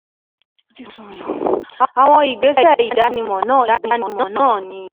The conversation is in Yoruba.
Àwọn ìgbésẹ̀ ìdánimọ̀ náà ìdánimọ̀ náà ni: